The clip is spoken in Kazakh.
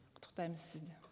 құттықтаймыз сізді